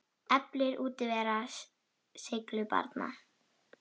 Eflir útivera seiglu barna?